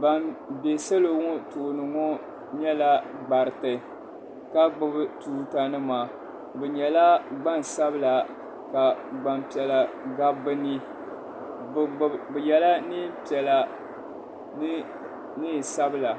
ban be salo ŋɔ tooni ŋɔ nyɛla gbariti ka gbubi tuutanima bɛ nyɛla gbansabila ka gbampiɛla gabi bɛ nii bɛ yela neem'piɛla ni neen'sabila.